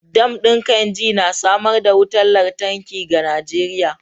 Dam din Kainji na samar da wutar lantarki ga Najeriya.